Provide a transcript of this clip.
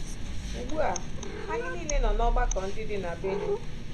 Ugbu a, anyị niile nọ n’ọgbakọ ndị dị na Benue.